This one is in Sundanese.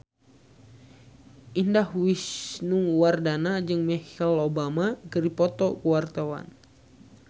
Indah Wisnuwardana jeung Michelle Obama keur dipoto ku wartawan